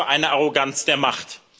Was für eine Arroganz der Macht!